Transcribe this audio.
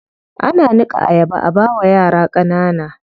Ana niƙa ayaba a bawa yara ƙanana.